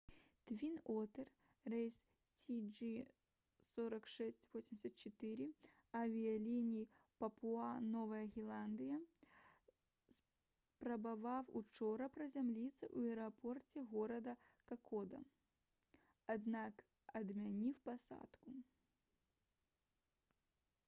«твін-отэр» рэйс cg4684 авіяліній папуа-новая гвінея спрабаваў учора прызямліцца ў аэрапорце горада какода аднак адмяніў пасадку